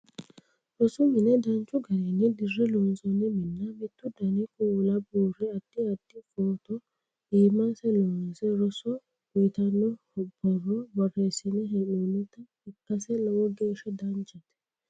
rosu mine danchu garinni dirre loonsoonni minna mittu dani kuula buurre addi addi footo iimase loonse roso uyiitanno borro borreessine hee'noonnita ikkase lowo geeshsha danchate